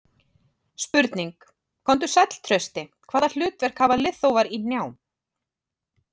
Spurning: Komdu sæll Trausti, Hvaða hlutverk hafa liðþófar í hnjám?